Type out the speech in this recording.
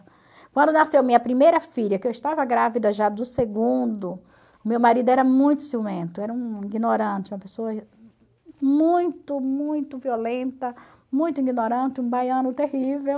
Quando nasceu minha primeira filha, que eu estava grávida já do segundo, o meu marido era muito ciumento, era um ignorante, uma pessoa muito, muito violenta, muito ignorante, um baiano terrível.